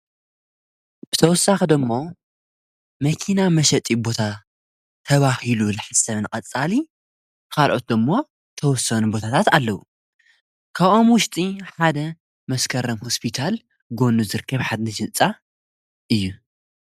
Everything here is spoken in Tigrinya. ብተወሳኽዶእሞ መኪና መሸጢ ቦታ ተባሂሉ ልሓሰምን ቐጻሊ ኻልዖትቶ እሞ ተወሰኑ ቦታታት ኣለዉ ካቛም ውሽጢ ሓደ መስከረም ሕስቢታል ጐኑ ዘርከብሓትኒ የንጻ እዩ::